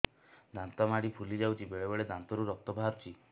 ଦାନ୍ତ ମାଢ଼ି ଫୁଲି ଯାଉଛି ବେଳେବେଳେ ଦାନ୍ତରୁ ରକ୍ତ ବାହାରୁଛି